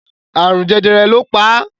Àrùn jẹjẹrẹ lọ pa